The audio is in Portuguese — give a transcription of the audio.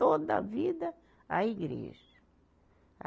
Toda a vida, a igreja.